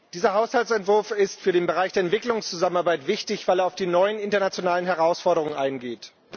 Dieser Haushaltsentwurf ist für den Bereich der Entwicklungszusammenarbeit wichtig, weil er auf die neuen internationalen Herausforderungen eingeht.